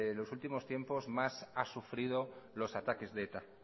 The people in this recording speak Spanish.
los últimos tiempos más ha sufrido los ataques de eta